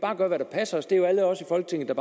gøre hvad der passer os at det er alle os i folketinget